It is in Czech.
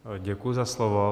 Děkuji za slovo.